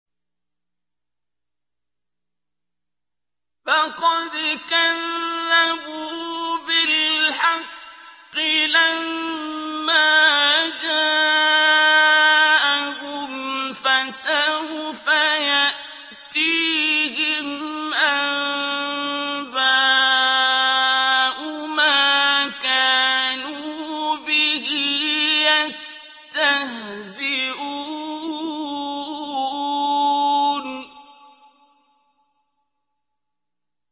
فَقَدْ كَذَّبُوا بِالْحَقِّ لَمَّا جَاءَهُمْ ۖ فَسَوْفَ يَأْتِيهِمْ أَنبَاءُ مَا كَانُوا بِهِ يَسْتَهْزِئُونَ